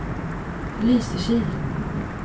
Lysekil